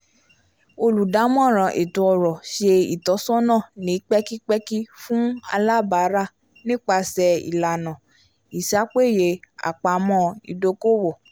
olùdámọ̀ràn ètó-ọ̀rọ̀ ṣe ìtọ́sọ́nà ni pẹkipẹki fún alábara nípasẹ ìlànà is'apeyé apamọ́ idoko-owo